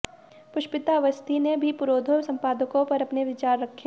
पुष्पिता अवस्थी ने भी पुरोधा संपादकों पर अपने विचार रखे